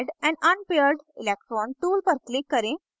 add an unpaired electron tool पर click करें